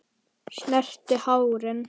Snerti hárin.